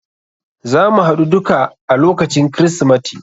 Zamu haɗu duka a lokacin krismati.